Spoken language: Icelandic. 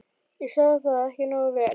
ég sá það ekki nógu vel.